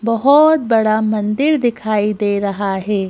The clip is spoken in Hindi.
बहुत बड़ा मंदिर दिखाई दे रहा है।